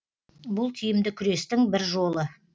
бұл тиімді күрестің бір жолы